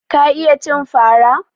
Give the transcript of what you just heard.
Ka iya cin fara?